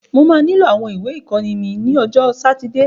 Mo máa nílò àwọn ìwé ìkọ́ni mí ní ọjọ́ sátidé.